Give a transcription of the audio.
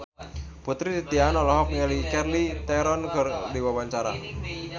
Putri Titian olohok ningali Charlize Theron keur diwawancara